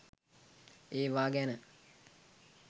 ඒවා ගැන